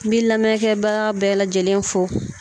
N bi lamɛnkɛbaga bɛɛ lajɛlen fo